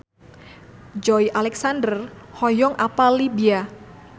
Joey Alexander hoyong apal Libya